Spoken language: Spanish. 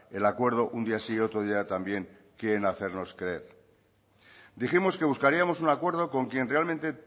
el acuerdo un día sí y otro día también quieren hacernos creer dijimos que buscaríamos un acuerdo con quien realmente